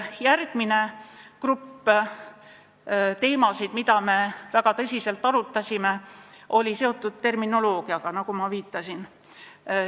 Järgmine teemade grupp, mida me väga tõsiselt arutasime, oli seotud terminoloogiaga, nagu ma ka viitasin.